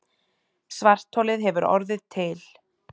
Svartholið hefur orðið til.